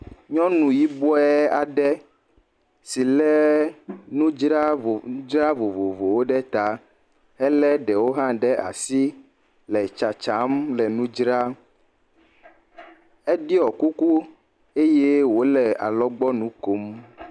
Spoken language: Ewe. Nyɔnu yibɔe aɖe si le nudzadzra vovovowo ɖe ta. Ele ɖewo ɖe asi le tsatsa le nu dzram. Eɖɔe kuku eye wole alɔgbɔ nu kom.